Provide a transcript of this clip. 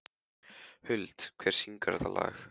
Huld, hver syngur þetta lag?